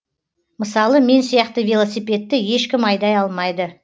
мысалы мен сияқты велосипедті ешкім айдай алмайды